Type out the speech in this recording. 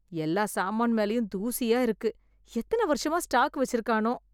எல்லா சாமான் மேலயும் தூசியா இருக்கு... எத்தன வருஷமா ஸ்டாக் வெச்சுருக்கானோ